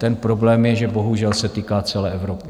Ten problém je, že bohužel se týká celé Evropy.